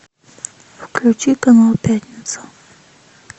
включи канал пятница